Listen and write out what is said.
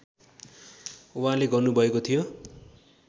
उहाँले गर्नुभएको थियो